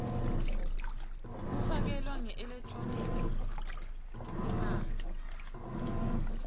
kufakelwa ngeelekthroniki imali